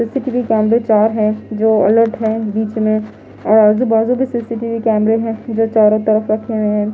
CCTV कैमरे चार हैजो अलर्ट हैबीच में और आजूबाजू भी सी_सी_टी_वी कैमरे है जो चारों तरफ रखे हुए हैं।